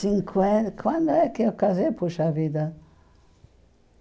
Cinquenta... Quando é que eu casei, poxa vida?